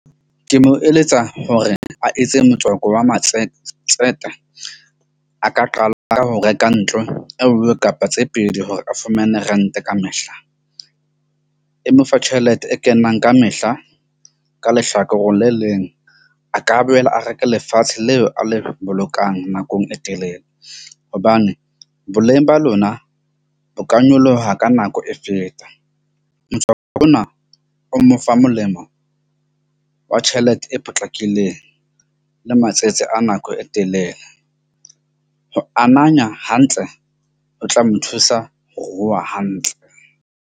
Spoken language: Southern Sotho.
Ke mo eletsa hore a etse motswako wa a ka qala ka ho reka ntlo e nngwe kapa tse pedi hore a fumane rent-e kamehla e mo fa tjhelete e kenang kamehla. Ka lehlakoreng le leng, a ka boela a reke lefatshe leo a le bolokang nakong e telele. Hobane boleng ba lona bo ka nyoloha ka nako e feta. Motswako ona o mo fa molemo wa tjhelete e potlakileng le matsetse a nako e telele. Ho amanya hantle o tla mo thusa ho ruha hantle.